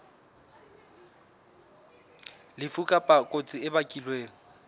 lefu kapa kotsi e bakilweng